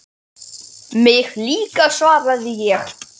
Mig líka svaraði ég.